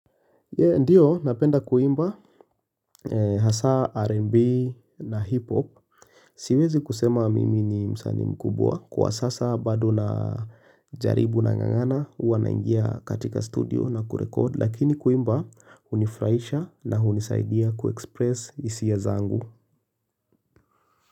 Ndiyo napenda kuimba Hasa RnB na Hip Hop Siwezi kusema mimi ni msanii mkubwa kwa sasa bado na jaribu nangangana huwa naingia katika studio na kurekodi lakini kuimba hunifurahisha na hunisaidia kuexpress hisia zangu.